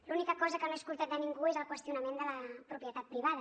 l’única cosa que no he sentit de ningú és el qüestionament de la propietat privada